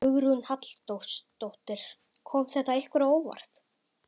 Hugrún Halldórsdóttir: Kom þetta ykkur á óvart?